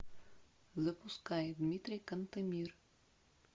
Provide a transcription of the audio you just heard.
запускай дмитрий кантемир